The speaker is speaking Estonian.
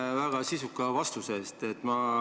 Aitäh väga sisuka vastuse eest!